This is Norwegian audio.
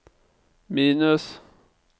minus